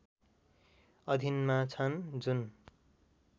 अधीनमा छन् जुन